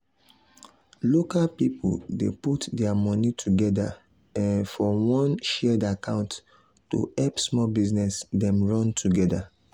local people dey put their money together um for one shared account to help small business dem run together.